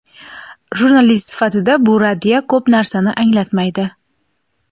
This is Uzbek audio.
Jurnalist sifatida bu raddiya ko‘p narsani anglatmaydi.